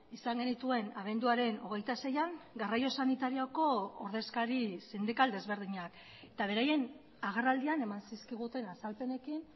izan genituen abenduaren hogeita seian garraio sanitarioko ordezkari sindikal desberdinak eta beraien agerraldian eman zizkiguten azalpenekin